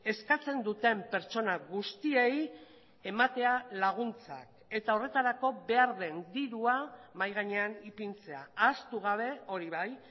eskatzen duten pertsona guztiei ematea laguntzak eta horretarako behar den dirua mahai gainean ipintzea ahaztu gabe hori bai